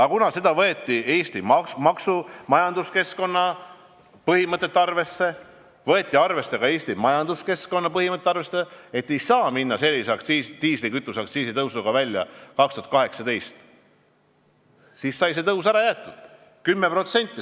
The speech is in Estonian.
Aga kuna võeti arvesse Eesti maksukeskkonna põhimõtteid, võeti arvesse ka Eesti majanduskeskkonna põhimõtteid, et ei saa 2018 tulla välja sellise diislikütuseaktsiisi tõusuga, siis sai see tõus ära jäetud.